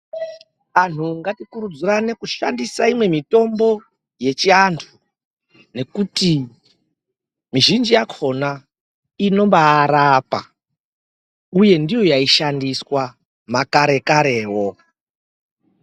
Anhu ngatikurudzirane kushandisa imwe mitombo yechiantu nekuti mizhinji yakhona inobaarapa, uye ndiyo yaishandiswa, makarekarewo.